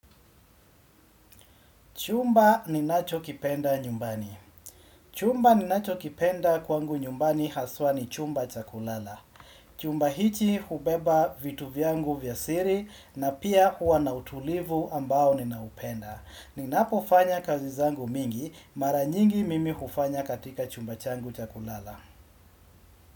Chumba ninachokipenda nyumbani Chumba ninachokipenda kwangu nyumbani haswa ni chumba cha kulala Chumba hiki hubeba vitu vyangu vya siri na pia huwa na utulivu ambao ninaupenda Ninapofanya kazi zangu mingi mara nyingi mimi hufanya katika chumba changu cha kulala.